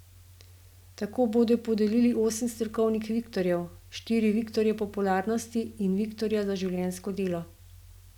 Tako bodo podelili osem strokovnih viktorjev, štiri viktorje popularnosti in viktorja za življenjsko delo.